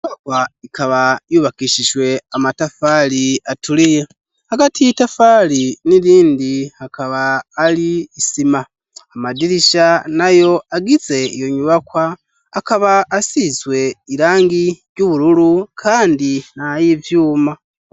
Inyubakwa ikaba yubakishise amatafari aturiye hagati y'itafari nirindi hakaba hari isima amadirisha nayo agize iyo nyubakwa akaba asize irangi ry'ubururu kandi nayivyuma.